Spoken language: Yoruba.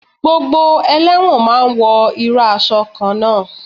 Gbogbo elẹ́wọ̀n ma ń wọ irú aṣọ kan náà.